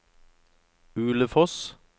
Ulefoss